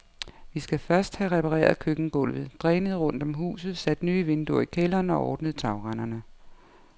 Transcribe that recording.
Vi skal først have repareret køkkengulvet, drænet rundt om huset, sat nye vinduer i kælderen og ordne tagrenderne.